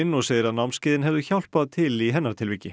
og segir að námskeiðin hefðu hjálpað til í hennar tilviki